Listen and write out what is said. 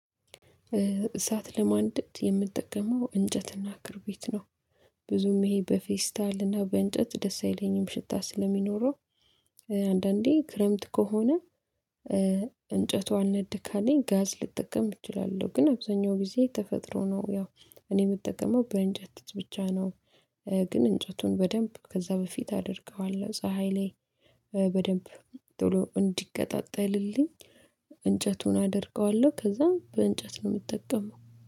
እሳት ለማንደድ የምጠቀመው እንጨትና ክርቢት ነው። ብዙም ይሄ በፌስታልና በእንጨት ደስ አይለኝም ሽታ ስለሚኖረው። አንዳንዴ ክረምት ከሆነ። እንጨቱ አልነድ ካለኝ ጋዝ ልጠቀም እችላለሁ ግን አብዛኛው ጊዜ ተፈጥሮ ነው ያው እኔ የምጠቀመው በእንጨት ብቻ ነው። ግን እንጨቱን በደንብ ከዛ በፊት አድርገዋለሁ ፀሀይ ላይ በደንብ ቶሎ እንዲቀጣጠልልኝ እንጨቱን አደርቀዋለሁ ከዛም በእንጨት ነው የምጠቀመው